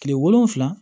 Kile wolonfila